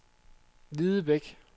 Hvidebæk